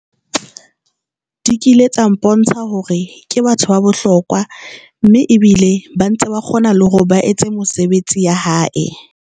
Di kile tsa mpontsha hore ke batho ba bohlokwa, mme ebile ba ntse ba kgona le hore ba etse mosebetsi ya hae.